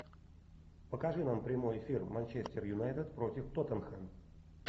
покажи нам прямой эфир манчестер юнайтед против тоттенхэм